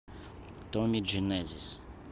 томми дженезис